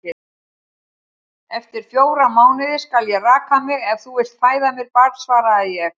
Eftir fjóra mánuði skal ég raka mig, ef þú vilt fæða mér barn, svaraði ég.